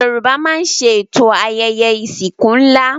Yorùbá máa ń ṣètò ayẹyẹ ìsìnkú ńlá